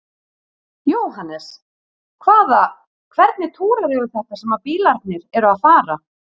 Jóhannes: Hvaða, hvernig túrar eru þetta sem að bílarnir eru að fara?